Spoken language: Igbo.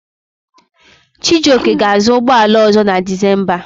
Chijioke ga-azụ ụgbọala ọ̀zọ́ na Dizemba.